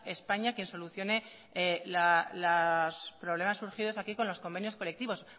españa quien solucione los problemas surgidos aquí con los convenios colectivos